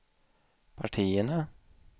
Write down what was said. partierna